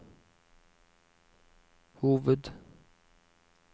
hoved